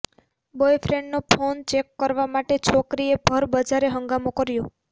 બોયફ્રેન્ડનો phone check કરવા માટે છોકરીએ ભર બજારે હંગામો કર્યો